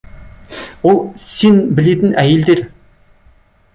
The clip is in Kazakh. ол сен білетін әйелдер